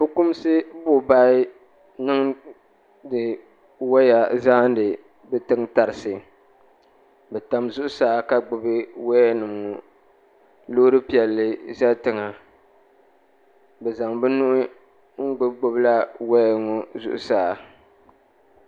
Fukumsi buɣubahi n niŋdi waya n zaani bɛ tiŋ tarisi bɛ tam zuɣusaa ka gbibi waya nima ŋɔ loori piɛlli za tiŋa bɛ zaŋ bɛ nuhi n gbibi gbibi waya ŋɔ zuɣusaa.